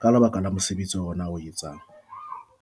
ka lebaka la mosebetsi ona o etsang.